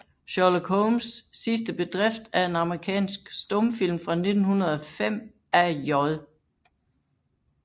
Sherlock Holmes sidste Bedrift er en amerikansk stumfilm fra 1905 af J